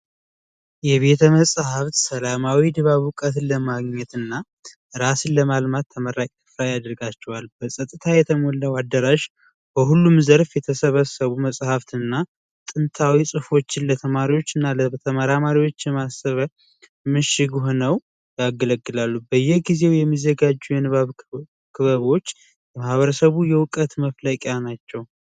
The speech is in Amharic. የቤተ መጻህፍት ሰላማዊ ድባብ እውቀትን ለማግኘትና ራስን በእውቀት ለማነጽ ይጠቅማል የተሟላ አዳራሽ በሁሉም ዘርፍ የተሰበሰቡ መጽሐፍትንና ታሪካዊ መጸሃፍትን ለተማሪዎችና ለተመራማሪዎች ጥቅም የሚሰጥ ሆኖ ያገለግላሉ በየጊዜው በተለያዩ ክበቦች የህብረተሰቡ የዕውቀት መፍለቂያ ናቸው።